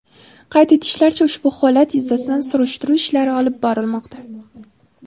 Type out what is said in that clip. Qayd etishlaricha, ushbu holat yuzasidan surishtiruv ishlari olib borilmoqda.